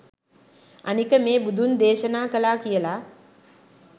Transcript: අනික මේ බුදුන් දේශනා කළා කියල